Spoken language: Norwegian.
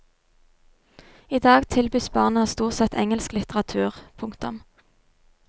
I dag tilbys barna stort sett engelsk litteratur. punktum